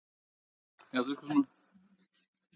Þetta er afrakstur margra ára vinnu?